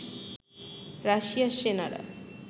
রাশিয়ার সেনারা